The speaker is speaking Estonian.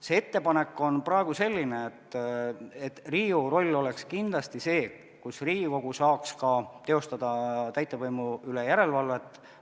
See ettepanek on praegu selline, et Riigikogu roll oleks kindlasti see, et Riigikogu saaks teha ka täitevvõimu üle järelevalvet.